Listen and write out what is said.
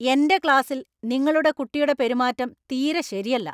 എന്‍റെ ക്ലാസില്‍ നിങ്ങളുടെ കുട്ടിയുടെ പെരുമാറ്റം തീരെ ശരിയല്ല.